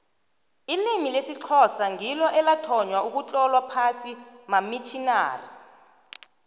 ilimi lesixhosa ngilo elathonywa ugutlolwa phasi mamitjinari